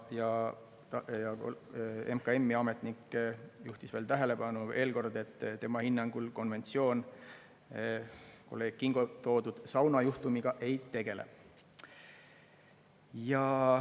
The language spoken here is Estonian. Ja MKM-i ametnik juhtis veel kord tähelepanu, et tema hinnangul konventsioon kolleeg Kingo toodud saunajuhtumiga ei tegele.